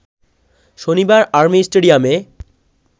শনিবার আর্মি স্টেডিয়ামে